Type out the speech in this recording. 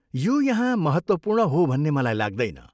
यो यहाँ महत्त्वपूर्ण हो भन्ने मलाई लाग्दैन।